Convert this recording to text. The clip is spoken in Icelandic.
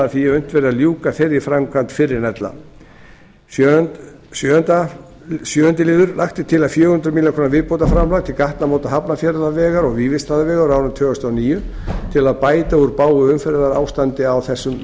því að unnt verði að ljúka þeirri framkvæmd fyrr en ella sjöunda lagt er til fjögur hundruð milljóna króna viðbótarframlag til gatnamóta hafnarfjarðarvegar og vífilsstaðavegar á árinu tvö þúsund og níu til að bæta úr bágu umferðarástandi á þessum